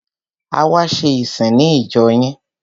A wá ṣe ìsìn ní ìjọ yín.